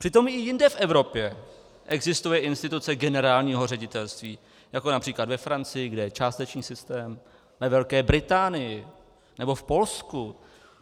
Přitom i jinde v Evropě existuje instituce generálního ředitelství, jako například ve Francii, kde je částečný systém, ve Velké Británii nebo v Polsku.